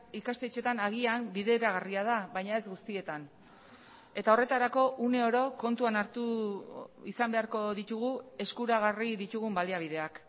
ikastetxeetan agian bideragarria da baina ez guztietan eta horretarako une oro kontuan hartu izan beharko ditugu eskuragarri ditugun baliabideak